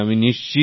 প্রেম জী হ্যাঁ